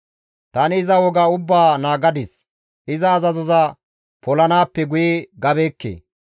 Tani iza woga ubbaa naagadis; iza azazoza polanaappe guye gabeekke.